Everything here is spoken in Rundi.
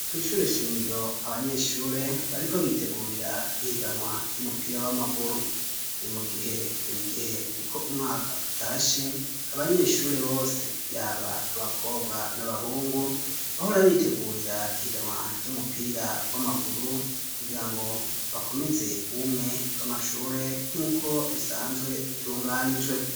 Kwishure shingiro abanyeshure bariko bitegurira ihiganwa ry'umupira w'amaguru ni mu gihe buri gihe uko umwaka utashe abanyeshure bose yaba abakobwa n'abahungu bahora bitegurira ihiganwa ry'umupira w'amaguru kugira ngo bakomeze ubumwe bw'amashure nk'uko bisanzwe bitunganijwe